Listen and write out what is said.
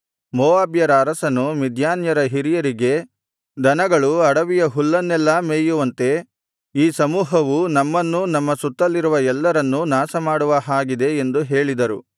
ಮೋವಾಬ್ಯರ ಅರಸನು ಮಿದ್ಯಾನ್ಯರ ಹಿರಿಯರಿಗೆ ದನಗಳು ಅಡವಿಯ ಹುಲ್ಲನ್ನೆಲ್ಲಾ ಮೇಯುವಂತೆ ಈ ಸಮೂಹವು ನಮ್ಮನ್ನೂ ನಮ್ಮ ಸುತ್ತಲಿರುವ ಎಲ್ಲರನ್ನೂ ನಾಶಮಾಡುವ ಹಾಗಿದೆ ಎಂದು ಹೇಳಿದರು